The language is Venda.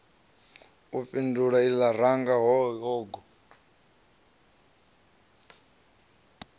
a fhindula lṅa ranga hogo